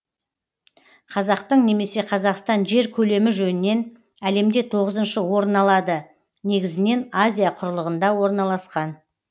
қазақтың немесе қазақстан жер көлемі жөнінен әлемде тоғызыншы орын алады негізінен азия құрлығында орналасқан